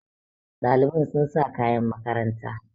Ɗalibai sun sa kayan makaranta